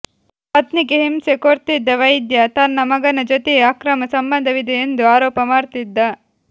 ಪತ್ನಿಗೆ ಹಿಂಸೆ ಕೊಡ್ತಿದ್ದ ವೈದ್ಯ ತನ್ನ ಮಗನ ಜೊತೆಯೇ ಅಕ್ರಮ ಸಂಬಂಧವಿದೆ ಎಂದು ಆರೋಪ ಮಾಡ್ತಿದ್ದ